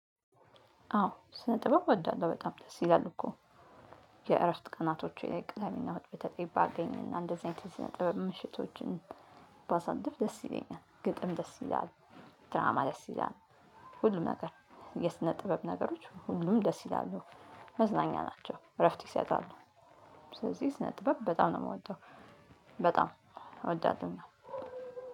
አዎ ልብስ አጠባ እወዳለሁ በጣም ደስ ይላል እኮ። የእረፍት ቀናቶቸ ላይ ቅደሜ እና እሁድ በተለይ ባገኝ እና እንደዚህ አይነት የስነ ጥበብ ምሽቶችን ባሳልፍ ደስ ይለኛል። ግጥም ደስ ይላል ድራማ ደስ ይላል። ሁሉም ነገር የስነ ጥበብ ነገሮች ሁሉም ደስ ይላሉ መዝናኛ ናቸው እረፍት ይሰጣሉ። ስለዚህ ስነ ጥበብ በጣም ነው የምወደው። በጣም እወዳለሁኝ።